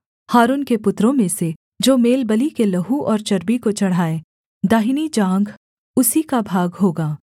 हारून के पुत्रों में से जो मेलबलि के लहू और चर्बी को चढ़ाए दाहिनी जाँघ उसी का भाग होगा